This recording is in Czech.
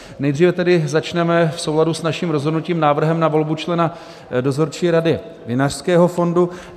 Nejdříve tedy začneme v souladu s naším rozhodnutím návrhem na volbu člena Dozorčí rady Vinařského fondu.